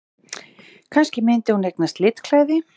Kannski myndi hún eignast litklæði!